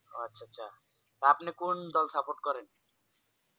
ও আচ্ছা আচ্ছা আপনি কোন দল support করেন?